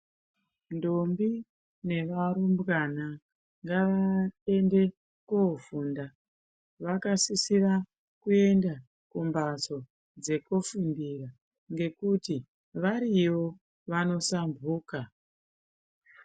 Ndombi ne varumbwana ngava ende ko funda vakasisira kuenda ku mbatso dzeku fundira ngekuti variyo vano sambuka.